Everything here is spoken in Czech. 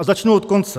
A začnu od konce.